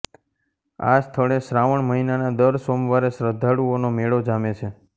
આ સ્થળે શ્રાવણ મહિનાના દર સોમવારે શ્રદ્ધાળુઓનો મેળો જામે છે